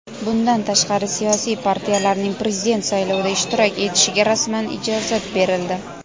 Bundan tashqari siyosiy partiyalarning Prezident saylovida ishtirok etishiga rasman ijozat berildi.